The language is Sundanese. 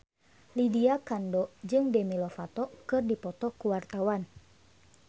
Lydia Kandou jeung Demi Lovato keur dipoto ku wartawan